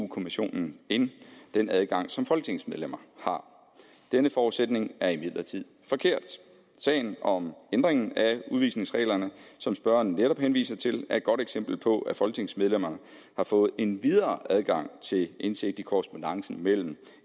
kommissionen end den adgang som folketingsmedlemmer har denne forudsætning er imidlertid forkert sagen om ændringen af udvisningsreglerne som spørgeren netop henviser til er et godt eksempel på at folketingsmedlemmerne har fået en videre adgang til indsigt i korrespondancen mellem